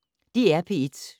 DR P1